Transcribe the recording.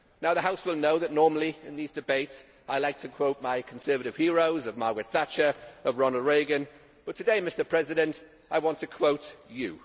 The House will know that normally, in these debates, I like to quote my conservative heroes of Margaret Thatcher and Ronald Regan, but today Mr President I want to quote you.